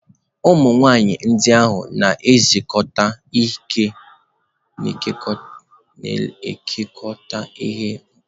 Ụmụ nwaanyị ndị ahụ na-ekekọta ihe mkpuchi na-acha anụnụ anụnụ na leesị maka nzukọ ahụ.